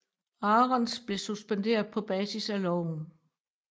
Arons blev suspenderet på basis af loven